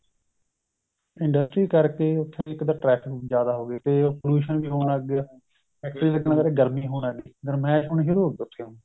industry ਕਰਕੇ ਉਥੇ ਇੱਕ traffic ਜਿਆਦਾ ਹੋ ਗਈ ਤੇ pollution ਵੀ ਹੋਣ ਲੱਗ ਗਿਆ ਫ਼ੈਕਟਰੀ ਲੱਗਣ ਕਰਕੇ ਗਰਮੀ ਹੋਣ ਲੱਗ ਗਈ ਗੱਰਮੇਸ਼ ਹੋਣੀ ਸ਼ੁਰੂ ਹੋ ਗਈ ਉਥੇ